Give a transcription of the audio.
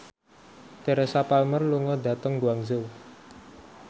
Teresa Palmer lunga dhateng Guangzhou